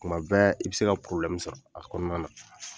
Kuma bɛɛ i bɛ se ka sɔrɔ a kɔnɔna na.